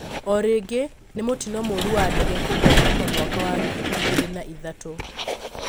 O rĩngĩ nĩ mũtino mũru wa ndege kũgwa kuma mwaka wa ngiri igĩrĩ na ithatũ